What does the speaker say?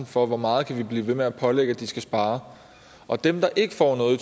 for hvor meget vi kan blive ved med at pålægge at de skal spare og dem der ikke får noget i